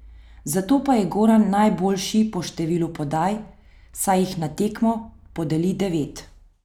Zato pa je Goran najboljši po številu podaj, saj jih na tekmo podeli devet.